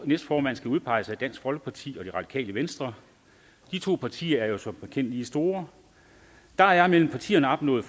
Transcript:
næstformand skal udpeges af dansk folkeparti og det radikale venstre de to partier er jo som bekendt lige store der er mellem partierne opnået